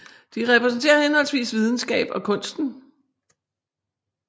De repræsenterer henholdsvis videnskaben og kunsten